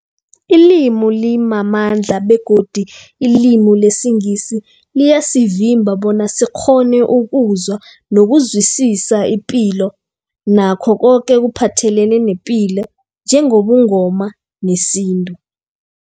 Ilimi limamandla begodu ilimi lesiNgisi liyasivimba bona sikghone ukuzwa nokuzwisisa ipilo nakho koke ekuphathelene nepilo njengobuNgoma nesintu.